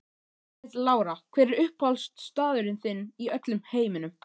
Margrét Lára Hver er uppáhaldsstaðurinn þinn í öllum heiminum?